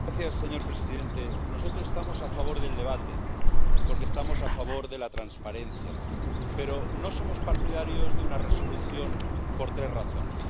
Señor presidente, nosotros estamos a favor del debate porque estamos a favor de la transparencia, pero no somos partidarios de una resolución por tres razones.